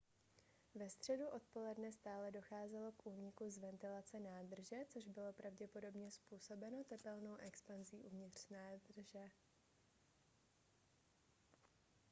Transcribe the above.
ve středu odpoledne stále docházelo k úniku z ventilace nádrže což bylo pravděpodobně způsobeno tepelnou expanzí uvnitř nádrže